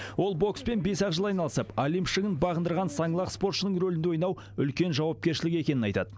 ол бокспен бес ақ жыл айналысып олимп шыңын бағындырған саңлақ спортшының рөлінде ойнау үлкен жауапкершілік екенін айтады